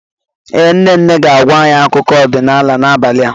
Ee, nne nne ga-agwa anyị akụkọ ọdịnala n'abalị a.